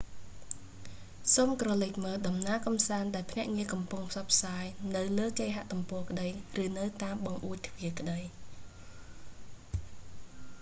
សូមក្រឡេកមើលដំណើរកំសាន្តដែលភ្នាក់ងារកំពុងផ្សព្វផ្សាយ នៅលើគេហទំព័រក្តីឬនៅតាមបង្អួចទ្វាក្តី